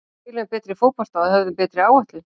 Við spiluðum betri fótbolta og höfðum betri áætlun.